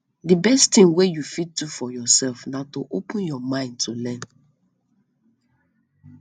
de best thing wey you fit do for yourself na to open your mind to learn